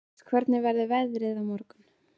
Rasmus, hvernig er veðrið á morgun?